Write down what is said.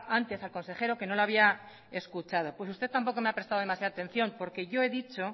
antes al consejero que no le había escuchado pues usted tampoco me ha prestado demasiado atención porque yo he dicho